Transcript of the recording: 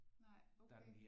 Nej okay